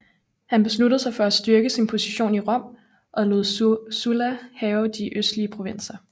Han besluttede sig for at styrke sin position i Rom og lod Sulla hærge de østlige provinser